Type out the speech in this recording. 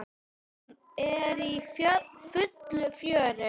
Hún er í fullu fjöri.